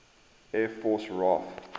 air force raaf